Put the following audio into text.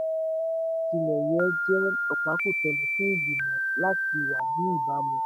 òwe àròjinlẹ̀ yẹ jẹ́ ọ̀pákùtẹ̀lẹ̀ fún ìgbìmọ̀ láti wà ní ìbámu.